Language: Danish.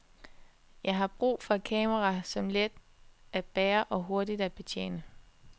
Jeg har brug for et kamera, som er let at bære og hurtigt at betjene.